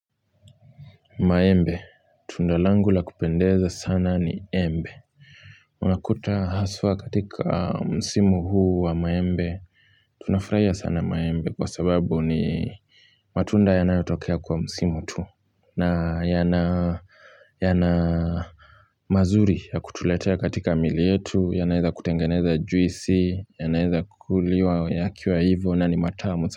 Maembe tundalangu la kupendeza sana ni embe unakuta haswa katika msimu huu wa maembe tunafuraia sana maembe kwa sababu ni matunda yanayotokea kwa msimu tuu na yana yana mazuri ya kutuletea katika miili yetu yanaeza kutengeneza juisi yanaeza kukuliwa yakiwa hivyo na ni matamu.